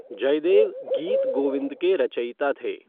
जयदेव गीत गोविंद के रचयिता थे।